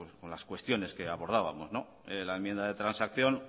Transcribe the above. con las cuestiones que abordábamos en la enmienda de transacción